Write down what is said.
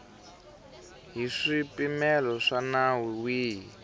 hi swipimelo swa nawu wihi